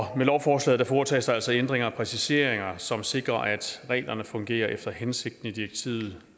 med lovforslaget foretages der altså ændringer og præciseringer som sikrer at reglerne fungerer efter hensigten i direktivet